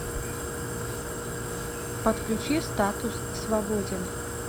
подключи статус свободен